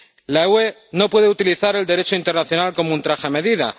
La Unión no puede utilizar el Derecho internacional como un traje a medida.